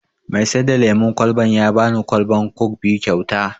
Mai sai da lemon kwalban ya bani kwalban kok biyu kyauta